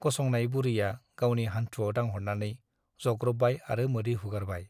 गसंनाय बुरैया गावनि हान्थुवाव दांहरनानै जग्र'बबाय आरो मोदै हुगारबाय ।